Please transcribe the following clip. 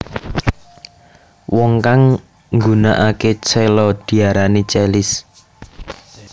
Wong kang nggunakake cello diarani cellis